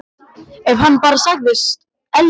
Ef hann bara segðist elska hana: